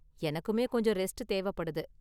எனக்குமே கொஞ்சம் ரெஸ்ட் தேவைப்படுது.